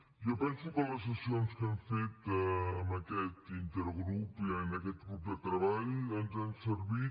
jo penso que les sessions que hem fet d’aquest intergrup d’aquest grup de treball ens han servit